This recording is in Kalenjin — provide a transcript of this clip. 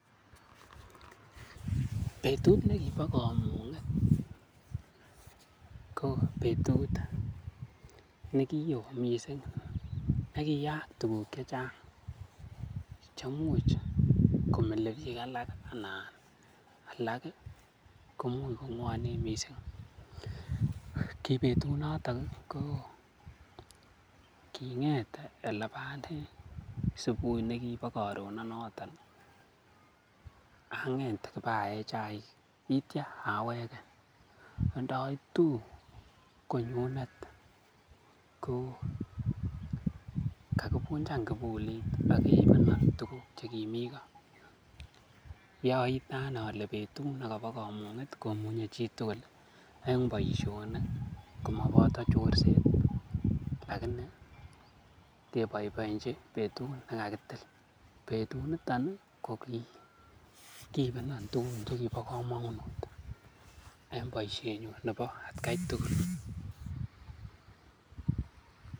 Betut nekibo komung'et ko betut ne ki woo mising, ne kiyaak tuguk che chang chemuch komile biik alak anan alak koimuch kong'wonen mising. Kibetunoto ko king'et ele bo ane subui ne kibo karononoto ang'et iba ae chaik kitya awege. Ndoitu konyunet ko kagivunjan kibulit ak keibenon tugukche kimi koo. Ki oite ane ole betut nekobo komung'et komunye chitugul en boisionik komoboto chorset ak inee keboiboienchi betut negakitil. Betunito ko kigiibenon tuguk che kibo komonut en boisienyun nebo atkai tugul.